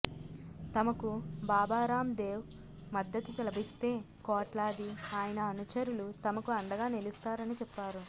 తమకు బాబా రామ్ దేవ్ మద్దతు లభిస్తే కోట్లాది ఆయన అనుచరులు తమకు అండగా నిలుస్తారని చెప్పారు